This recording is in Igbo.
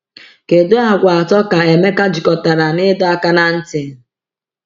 Kedu àgwà atọ ka Emeka jikọtara na ịdọ aka ná ntị?